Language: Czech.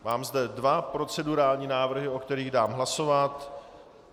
Mám zde dva procedurální návrhy, o kterých dám hlasovat.